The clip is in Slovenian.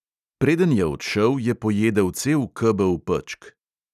Preden je odšel, je pojedel cel kebel pečk.